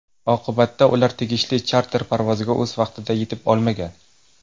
Oqibatda ular tegishli charter parvoziga o‘z vaqtida yetib olmagan.